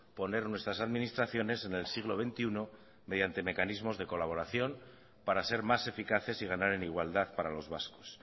poner nuestras administraciones en el siglo veintiuno mediante mecanismos de colaboración para ser más eficaces y ganar en igualdad para los vascos